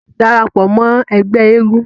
darapọ̀ mọ́ ẹgbẹ́ eégún